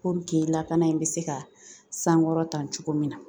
Puruke lakana in bɛ se ka sankɔrɔ ta cogo min na .